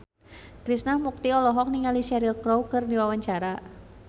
Krishna Mukti olohok ningali Cheryl Crow keur diwawancara